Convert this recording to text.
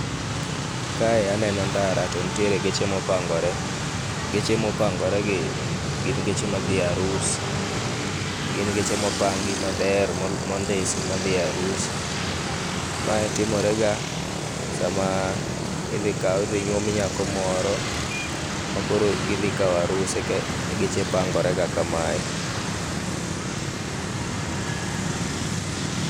Kae aneno ndara to nitiere geche ma opangore. Geche ma opangore gi gin geche ma dhie arus, gin geche ma opangi maber mondisi madhie arus. Mae timore ga sama idhi kaw, idhi nyuom nyako moro makoro gidhi kaw arus eka geche pangore ga kamae